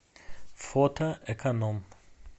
фото эконом